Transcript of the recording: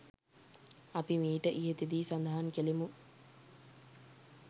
අපි මීට ඉහතදී සඳහන් කළෙමු.